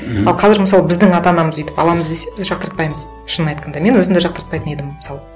мхм а қазір мысалы біздің ата анамыз өйтіп аламыз десе біз жақтыртпаймыз шынын айтқанда мен өзім де жақтыртпайтын едім мысалы